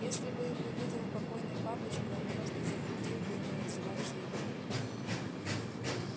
если бы его видел покойный папочка он просто запретил бы ему называться евреем